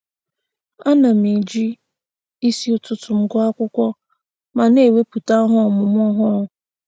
Ana m eji isi ụtụtụ m agụ akwụkwọ ma na-ewepụta ihe ọmụmụ ọhụrụ.